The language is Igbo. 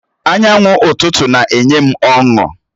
Anyanwụ ụtụtụ na-enye m ọṅụ.